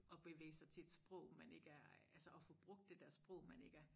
At bevæge sig til at sprog man ikke er altså at få brug det dér sprog man ikke er